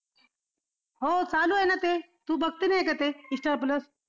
हो चालू आहे ना ते तू बघते नाही का ते star plus